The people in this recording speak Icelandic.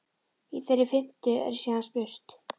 Í þeirri fimmtu er síðan spurt?